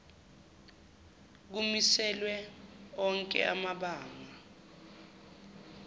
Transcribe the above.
kumiselwe onke amabanga